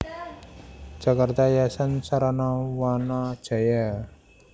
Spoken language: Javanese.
Jakarta Yayasan Sarana Wana Jaya